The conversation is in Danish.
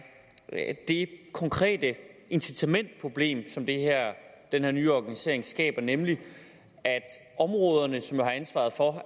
det konkrete incitamentsproblem som den her nye organisering skaber nemlig at områderne som jo har ansvaret for at